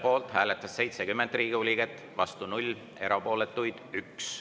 Poolt hääletas 70 Riigikogu liiget, vastu 0, erapooletuks jäi 1.